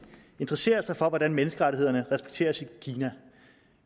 interesserer sig for hvordan menneskerettighederne respekteres i kina